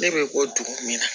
Ne bɛ bɔ dugu min na